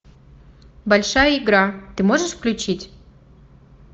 большая игра ты можешь включить